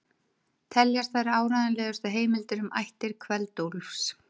Teljast þær áreiðanlegustu heimildir um ættir Kveld-Úlfs.